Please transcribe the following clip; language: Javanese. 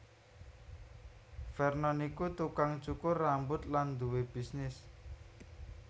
Vernon iku tukang cukur rambut lan duwé bisnis